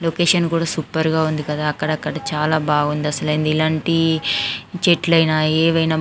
location కూడా super గా ఉంది కదా అక్కడక్కడా చాలా బాగుంది అసలైన ఇలాంటి చెట్లయినా ఏవైనా --